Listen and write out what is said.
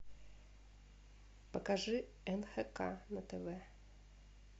покажи нхк на тв